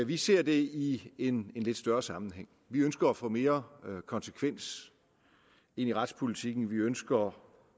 vi ser det i en lidt større sammenhæng vi ønsker at få mere konsekvens ind i retspolitikken vi ønsker